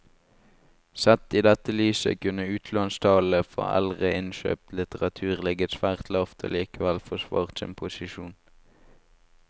Sett i dette lyset kunne utlånstallene for eldre innkjøpt litteratur ligget svært lavt og likevel forsvart sin posisjon.